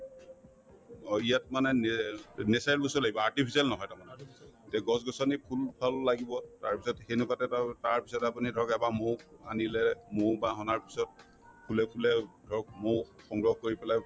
অ, ইয়াত মানে nail natural বস্তুয়ে লাগিব artificial নহয় তাৰমানে তে গছ-গছনি ফুল-ফল লাগিব তাৰপিছত সেনেকুৱাতে তাৰপিছতে আপুনি ধৰক এপাহ মৌ আনিলে মৌ পাহ অনাৰ পিছত ফুলে ফুলে ধৰক মৌ সংগ্ৰহ কৰি পেলাই